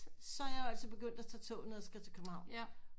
Så er jeg jo altså begyndt at tage toget når jeg skal til København